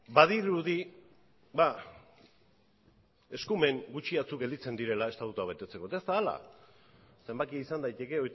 badirudi eskumen gutxi batzuk gelditzen direla estatutua betetzeko eta ez da hala zenbakia izan daiteke